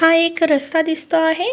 तो एक रस्ता दिसतो आहे.